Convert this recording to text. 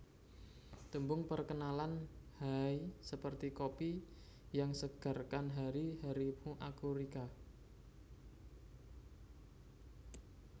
Tembung Perkenalan Haaaaiii seperti kopi yang segarkan hari harimu aku Rica